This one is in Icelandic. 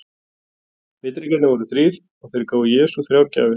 Vitringarnir voru þrír og þeir gáfu Jesú þrjár gjafir.